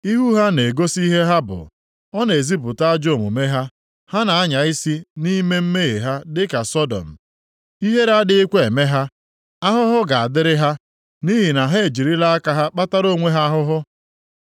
Ihu ha na-egosi ihe ha bụ. Ọ na-ezipụta ajọ omume ha. Ha na-anya isi nʼime mmehie ha dịka Sọdọm. Ihere adịghịkwa eme ha. Ahụhụ ga-adịrị ha, nʼihi na ha ejirila aka ha kpatara onwe ha ahụhụ.